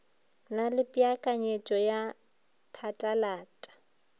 na le peakanyeto ya phatlalata